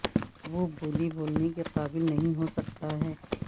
وہ بولی بولنے کے قابل نہیں ہو سکتا ہے